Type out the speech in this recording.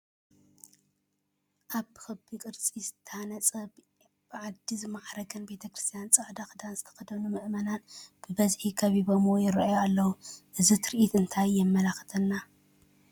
ኣብ ብኽቢ ቅርፂ ዝተሃነፀን ብዓድ ዝማዕረገን ቤተ ክርስቲያን ፃዕዳ ክዳን ዝተኸደኑ ምእመናን ብብዝሒ ከቢበሞ ይርአዩ ኣለዉ፡፡ እዚ ትርኢት እንታይ የመልክተና?